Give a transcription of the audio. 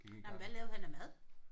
Nej men hvad lavede han af mad?